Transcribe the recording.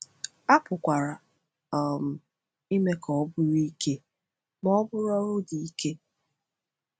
A pụkwara um ime ka ọ bụrụ “ike” ma ọ bụ “ọrụ dị ike.”